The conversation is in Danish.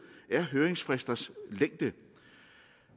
er høringsfristers længde